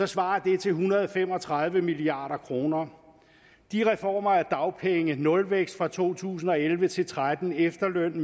svarer det til en hundrede og fem og tredive milliard kroner de reformer af dagpenge nulvækst fra to tusind og elleve til tretten efterløn